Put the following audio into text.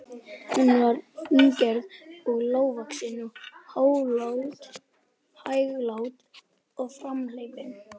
Hún var fíngerð og lágvaxin og hæglát og framhleypin.